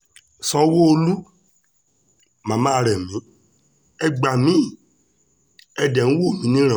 sanwó-olu mama remi ẹ gbá mi ẹ́ dẹ̀ ń wò mí níran